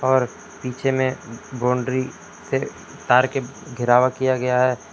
और पीछे में बाउंड्री पे तार के घेरावा किया गया है।